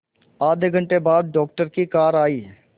आधे घंटे बाद डॉक्टर की कार आई